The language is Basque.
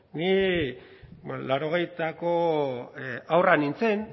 ni laurogeitako haurra nintzen